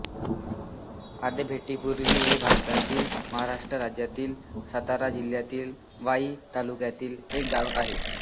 आभेपुरी हे भारतातील महाराष्ट्र राज्यातील सातारा जिल्ह्यातील वाई तालुक्यातील एक गाव आहे